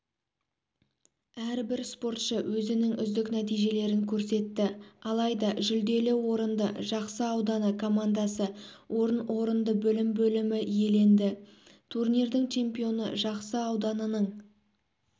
әрбір спортшы өзінің үздік нәтижелерін көрсетті алайда жүлделі орынды жақсы ауданы командасы орын орынды білім бөлімі иеленді турнирдің чемпионы жақсы ауданының